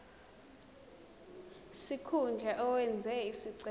sikhundla owenze isicelo